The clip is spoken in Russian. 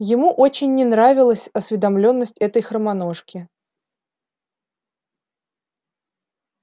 ему очень не нравилась осведомлённость этой хромоножки